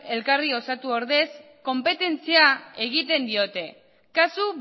elkarri osatu ordez konpetentzia egiten diote kasu